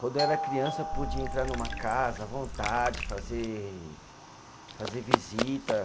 Quando eu era criança, eu podia entrar numa casa à vontade, fazer fazer visita.